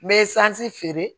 N bɛ sanzi feere